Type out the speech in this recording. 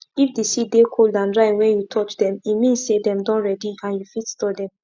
na only after you show say you sabi tie animal well during dry season dem go give you um di cowhide rope.